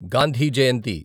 Gandhi Jayanthi